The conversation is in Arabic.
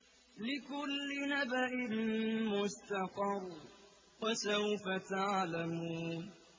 لِّكُلِّ نَبَإٍ مُّسْتَقَرٌّ ۚ وَسَوْفَ تَعْلَمُونَ